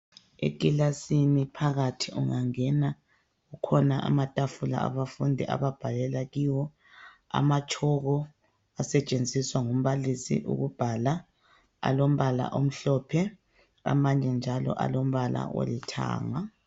Ekilasini phakathi ungangena kukhona amatafula abafundi ababhalela kiwo, amatshoko asetshenziswa ngumbalisi ukubhala . Alombala omhlophe amanye njalo olombala olithanga.